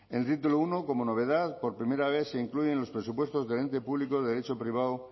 en el título uno como novedad por primera vez se incluye en los presupuestos del ente público de derecho privado